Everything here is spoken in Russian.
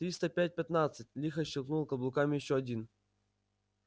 триста пять пятнадцать лихо щёлкнул каблуками ещё один